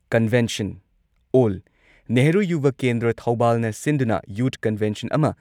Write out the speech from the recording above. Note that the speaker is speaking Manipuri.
ꯀꯟꯚꯦꯟꯁꯟ ꯑꯣꯜ ꯅꯦꯍꯔꯨ ꯌꯨꯚ ꯀꯦꯟꯗ꯭ꯔ ꯊꯧꯕꯥꯜꯅ ꯁꯤꯟꯗꯨꯅ ꯌꯨꯊ ꯀꯟꯚꯦꯟꯁꯟ ꯑꯃ